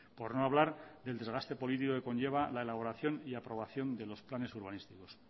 por no hablar del desgaste político que conlleva la elaboración y aprobación de los planes urbanísticos